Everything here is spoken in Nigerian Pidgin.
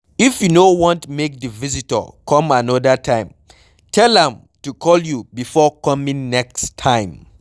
If you no want make di visitor come another time, tell am to call you before coming next time